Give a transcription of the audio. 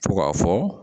Fo k'a fɔ